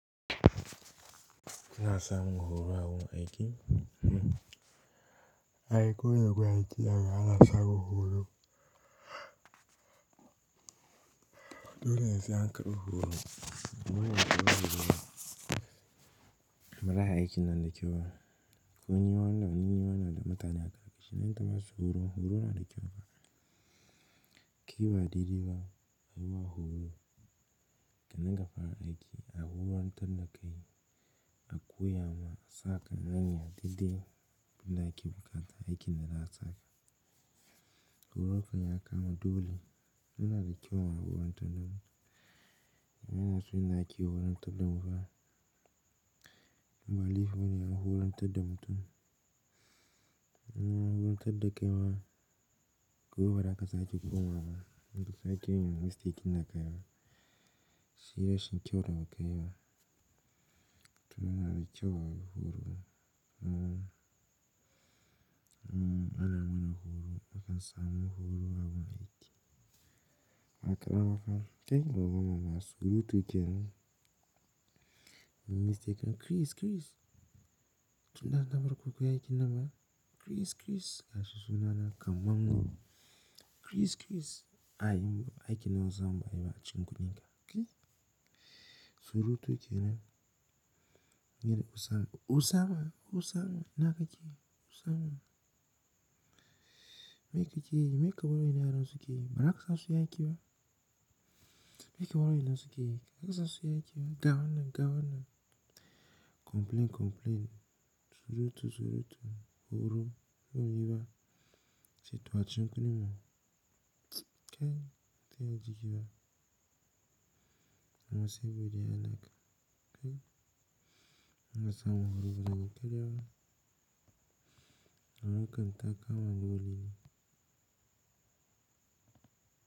iNa sa mun horo awurin aiki. Ai kowane gun aiki yanzu ana samun horo. Dole sai an karbi horo. Horo yana da kyau mara aiki nan da kyau. Ko yinwa nan yinwa na da mutane a ƙarfi. Nan da masu horo horo na da kyau fa. Ki ba didiba a yima horo kannan ka fara aiki. A horantadda kai a koya ma ka asa ka gane didde. Abunda ake bukata aiki na da za'a saka. Horo kan yakama dole. Yana da kyau a horon tadda mu. Muna son yadda ake horon tadda mufa. Wane ya fimu horantadda mutum inna horantadda kaima gobe bazaka sake komawa ba. Inka sake yin mistake ina kaiwa. Shida shi kyauta kaiwa. To yana da kyau horo. Ana mana horo. Akan sa mun horo awon aiki. Aƙaba kan kai goggo mana su. Rutu ke nan. Mistake Chris Chris. Tunda aka barku bakuyi aikin nan ba. Chris Chris. Ashi suna na kaman mu. Chris Chris. Ai himba aiki na zan ba ai ba. aCikin kudinka. Kai. Su rutu ke nan. Mene usama. Usama. Usama. iNa ka ke. Usama. Me ke ke yi. Me kabar yarannan sukeyi baza kasa suyi aiki ba. Me ke wannan su ke yi. Bazaka sa su yi aiki ba. Gawanna gawanna. Complain complain. Su rutu su rutu. Horo. Yinwa. Sai yace to acikin kudinmu. Kai. Ta yaji yi ba. Mana sai godiyan Allah. Kai. Muna sa mun horo bazanyi karyaba hakan ta kama dolene.